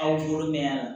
Aw bolo mɛ yan